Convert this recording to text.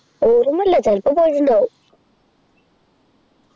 ഓർമയില്ല ചിലപ്പോ പോയിട്ടുണ്ടാകും